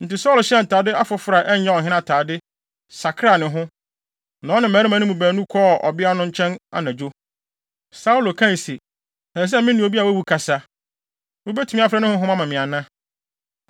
Enti Saulo hyɛɛ ntade afoforo a ɛnyɛ ɔhene afade, sakraa ne ho, na ɔne mmarima no mu baanu kɔɔ ɔbea no nkyɛn anadwo. Saulo kae se, “Ɛsɛ sɛ me ne obi a wawu kasa. Wubetumi afrɛ ne honhom ama me ana?”